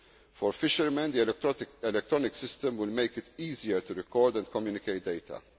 length. For fishermen, the electronic system will make it easier to record and communicate